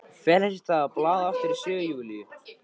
Fer þess í stað að blaða aftur í sögu Júlíu.